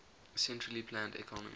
centrally planned economy